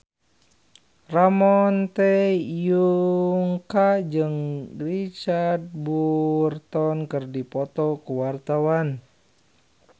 Ramon T. Yungka jeung Richard Burton keur dipoto ku wartawan